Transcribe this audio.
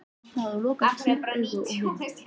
Ég gat opnað og lokað kýrauganu að vild.